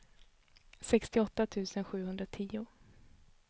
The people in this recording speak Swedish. sextioåtta tusen sjuhundratio